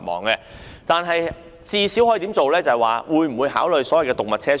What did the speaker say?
不過，當局最少可否考慮設置動物車廂？